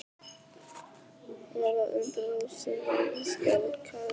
Var að undra þó sumir yrðu skelkaðir?